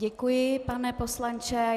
Děkuji, pane poslanče.